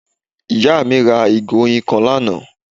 Ìyá à mí ra ìgò oyin kan lánàá